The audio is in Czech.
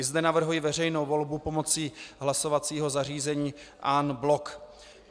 I zde navrhuji veřejnou volbu pomocí hlasovacího zařízení en bloc.